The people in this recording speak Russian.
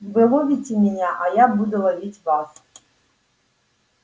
вы ловите меня а я буду ловить вас